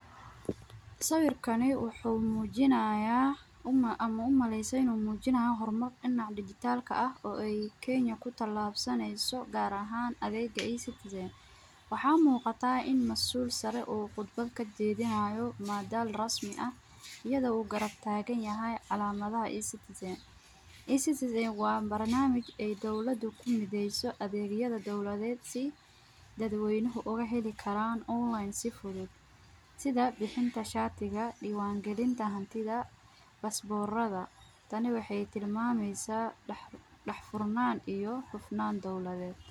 Sawirkani wuxu mujinayaa ama umaleyse inu mujinayo hormar dinaca digital , oo ay kenya kutilabsaneyso gaar ahan adega e- citizen, waxa muqataa in masuul saree oo khudba kajedinayo madaal rasmi ah, iyado u garab taganyaxay calamadaha e- citizen e- citizen wa barnamij ay dowlada kumideyso adegyada dowladed sii dadweynuhu ay uhelikaraan online si fuudud, sidha bixinta shatiga diwangalinta xantidaa, pasporada, taani waxay tilmameysaa daxfurnan iyo xufnan dowladed.